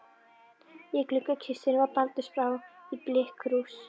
Í gluggakistunni var baldursbrá í blikkkrús.